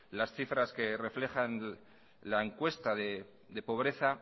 las cifras que reflejan la encuesta de pobreza